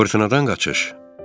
Fırtınadan qaçış.